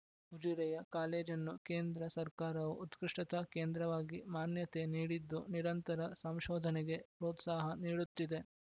ಉಜಿರೆಯ ಕಾಲೇಜನ್ನು ಕೇಂದ್ರ ಸರ್ಕಾವು ಉತ್ಕೃಷ್ಟತಾ ಕೇಂದ್ರವಾಗಿ ಮಾನ್ಯತೆ ನೀಡಿದ್ದು ನಿರಂತರ ಸಂಶೋಧನೆಗೆ ಪ್ರೋತ್ಸಾಹ ನೀಡುತ್ತಿದೆ